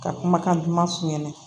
Ka kumakan duman f'u ɲɛna